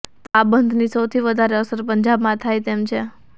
તો આ બંધની સૌથી વધારે અસર પંજાબમાં થાય તેમ છે